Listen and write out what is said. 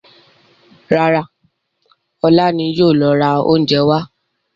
Rárá, ọlá ni yìí ó lọ ra oúnjẹ wá.